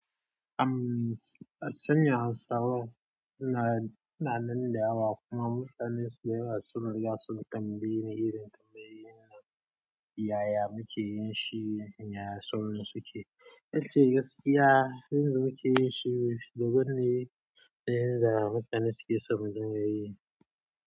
Am sanya Hausawa ina, na nan da yawa kuma mutane da yawa sun riga sun tambayeni irin yaya muke yin shi, yaya sauran suke. Yace gaskiya yanda muke yin shi, daban ne, da yanda mutane suke so mu dinga yi.